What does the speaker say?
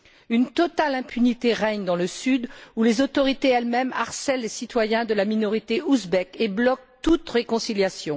Une totale impunité règne dans le sud où les autorités, elles mêmes, harcèlent les citoyens de la minorité ouzbek et bloquent toute réconciliation.